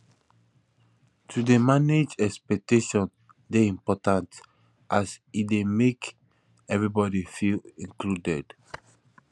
to dey manage expectations dey important as e make everybody feel included